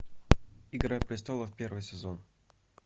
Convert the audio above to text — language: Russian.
игра престолов первый сезон